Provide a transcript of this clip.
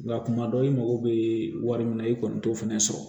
Nka kuma dɔw i mago bɛ wari min na i kɔni t'o fɛnɛ sɔrɔ